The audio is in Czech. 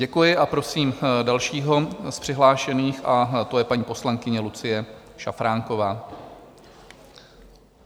Děkuji a prosím dalšího z přihlášených a to je paní poslankyně Lucie Šafránková.